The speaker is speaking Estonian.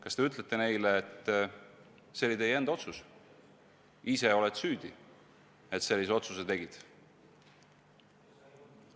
Kas te ütlete neile, et see oli nende enda otsus, ise olid süüdi, et sellise otsuse tegid?